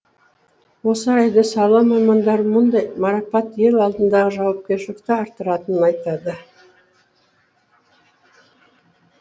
осы орайда сала мамандары мұндай марапат ел алдындағы жауапкершілікті арттыратынын айтады